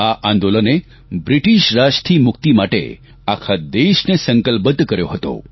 આ આંદોલને બ્રિટીશ રાજથી મુક્તિ માટે આખા દેશને સંકલ્પબદ્ધ કર્યો હતો